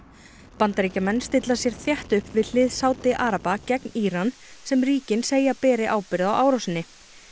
Bandaríkjamenn stilla sér þétt upp við hlið Sádi araba gegn Íran sem ríkin segja að beri ábyrgð á árásinni